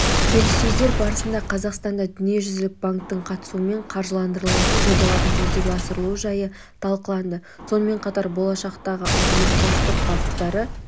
келіссөздер барысында қазақстанда дүниежүзілік банктің қатысуымен қаржыландырылатын жобалардың жүзеге асырылужайы талқыланды сонымен қатар болашақтағы ынтымақтастық бағыттары